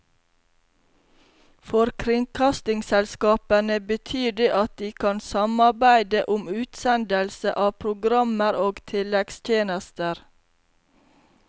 For kringkastingsselskapene betyr det at de kan samarbeide om utsendelse av programmer og tilleggstjenester.